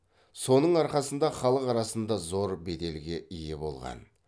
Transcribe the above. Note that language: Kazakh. соның арқасында халық арасында зор беделге ие болған